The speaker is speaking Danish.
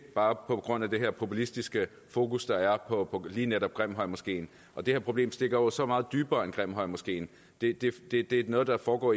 bare på grund af det her populistiske fokus der er på lige netop grimhøjmoskeen det her problem stikker jo så meget dybere end grimhøjmoskeen det det er noget der foregår